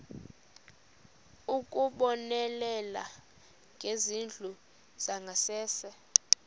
ukubonelela ngezindlu zangasese